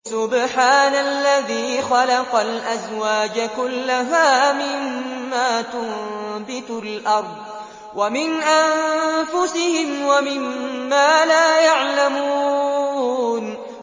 سُبْحَانَ الَّذِي خَلَقَ الْأَزْوَاجَ كُلَّهَا مِمَّا تُنبِتُ الْأَرْضُ وَمِنْ أَنفُسِهِمْ وَمِمَّا لَا يَعْلَمُونَ